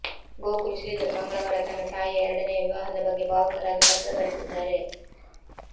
ಗೋಕುಲ್ ಶ್ರೀಧರ್ ಮಂಗಳವಾರ ತನ್ನ ತಾಯಿಯ ಎರಡನೆಯ ವಿವಾಹದ ಬಗ್ಗೆ ಭಾವುಕರಾಗಿ ಪತ್ರ ಬರೆದಿದ್ದಾರೆ